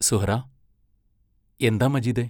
സുഹ്റാ എന്താ മജീദേ?